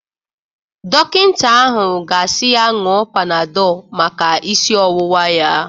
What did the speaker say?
Dọkịta ahụ ga-asi ya ñụọ Panadol maka isi ọwụwa ya.